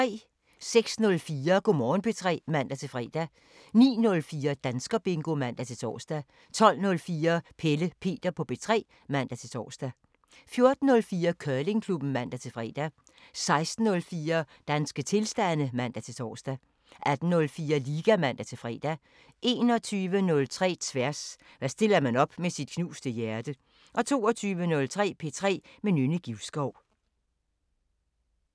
06:04: Go' Morgen P3 (man-fre) 09:04: Danskerbingo (man-tor) 12:04: Pelle Peter på P3 (man-tor) 14:04: Curlingklubben (man-fre) 16:04: Danske tilstande (man-tor) 18:04: Liga (man-fre) 21:03: Tværs: Hvad stiller man op med sit knuste hjerte? 22:03: P3 med Nynne Givskov